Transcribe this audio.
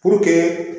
Puruke